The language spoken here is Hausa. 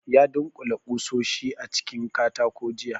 Ya dunkule kusoshi a cikin katako jiya